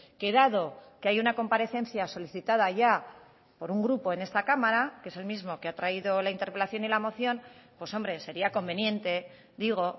que dado que hay una comparecencia solicitada ya por un grupo en esta cámara que es el mismo que ha traído la interpelación y la moción pues hombre sería conveniente digo